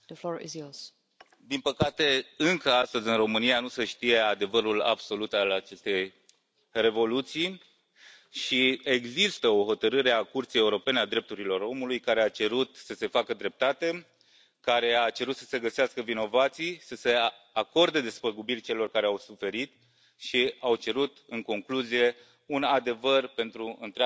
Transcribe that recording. Din păcate încă, astăzi, în România, nu se știe adevărul absolut al acestei Revoluții și există o hotărâre a Curții Europene a Drepturilor Omului care a cerut să se facă dreptate, care a cerut să se găsească vinovații, să se acorde despăgubiri celor care au suferit și a cerut, în concluzie, un adevăr pentru întreaga națiune română.